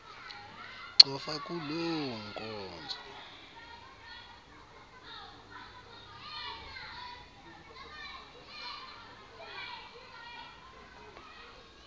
cofa kuloo nkonzo